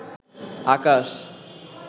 আকাশ